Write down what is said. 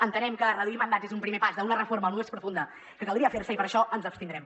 entenem que reduir mandats és un primer pas d’una reforma més profunda que caldria fer i per això ens abstindrem